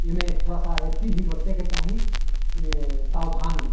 इमे थोड़ा एथी भी बरते के चाही ऐ उम्म सावधनी |